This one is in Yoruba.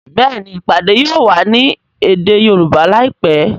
Béèni ìpàdé yóò wá ní èdè Yorùbá láìpé.